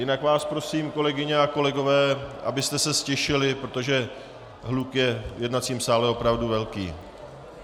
Jinak vás prosím, kolegyně a kolegové, abyste se ztišili, protože hluk je v jednacím sále opravdu velký.